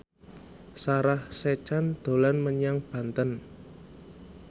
Sarah Sechan dolan menyang Banten